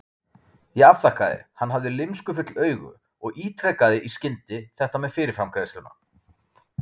Ég afþakkaði, hann hafði lymskufull augu, og ítrekaði í skyndi þetta með fyrirframgreiðsluna.